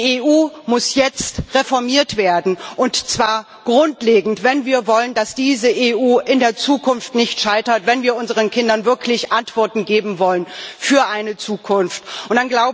Die EU muss jetzt reformiert werden, und zwar grundlegend, wenn wir wollen, dass diese EU in der Zukunft nicht scheitert, wenn wir unseren Kindern wirklich Antworten für eine Zukunft geben wollen.